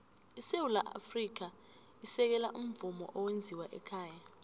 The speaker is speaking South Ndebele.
isewula afrika isekela umvumo owenziwe ekhaya